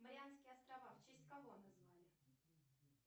марианские острова в честь кого назвали